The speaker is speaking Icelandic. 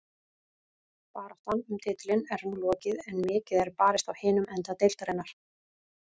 Baráttan um titilinn er nú lokið en mikið er barist á hinum enda deildarinnar.